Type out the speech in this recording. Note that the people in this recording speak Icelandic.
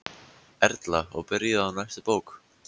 Erla: Og byrjuð á næstu bók?